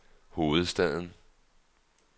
hovedstaden